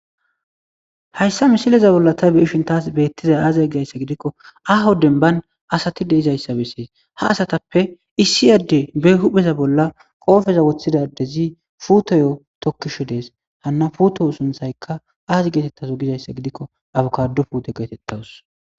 Hayssa misileza bolla ta beishin taas beettiza aaza gizayssa gidikko ahoden ban asatide izayssa bessees ha asatappe issi adde be huhpheza bolla qoofeza woththidadezi puutoyo tokkisho dees hanna puuto sunthaykka aazi geetettazo gizayssa gidikko abukado puuto geetettawus.